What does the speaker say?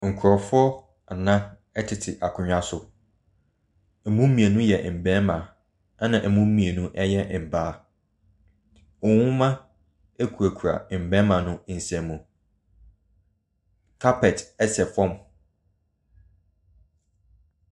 Nkrɔfoɔ nan ɛteet akonnwa so. Emi mmienu yɛ mmarima. Ɛna emu mmienu yɛ mmaa. Nwoma kurakura mmarima no nsam. Kapɛt sɛ fam.